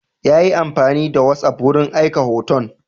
Ya yi amfani da whatsapp wurin aika hoton.